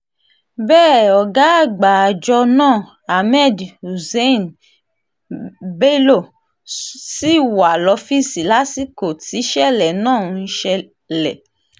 bẹ́ẹ̀ ọ̀gá àgbà àjọ náà ahmed húṣáínì bẹ́lọ́ ṣì wà lọ́fíìsì lásìkò tísẹ̀lẹ̀ náà ṣẹlẹ̀